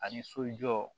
Ani sojɔ